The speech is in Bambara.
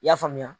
I y'a faamuya